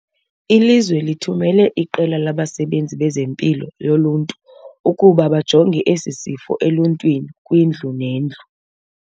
Ilizwe lithumele iqela labasebenzi bezeMpilo yoLuntu ukuba bajonge esi sifo eluntwini kwindlu nendlu.